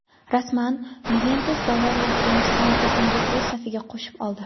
Rasman: "Yuventus" "Bavariya" hujumchisini tekinga o‘z safiga qo‘shib oldi;.